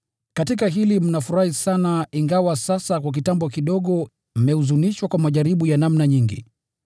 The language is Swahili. Katika hili mnafurahi sana, ingawa sasa kwa kitambo kidogo mmehuzunishwa kwa majaribu ya namna nyingi.